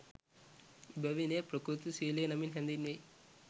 එබැවින් එය ප්‍රකෘති ශීලය නමින් හැඳීන්වෙයි.